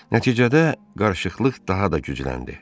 Nəticədə qarışıqlıq daha da gücləndi.